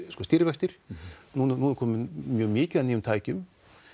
stýrivextir nú er komið mikið af nýjum tækjum